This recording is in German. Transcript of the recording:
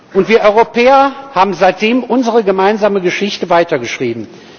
Und wir Europäer haben seitdem unsere gemeinsame Geschichte weitergeschrieben.